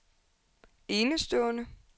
enestående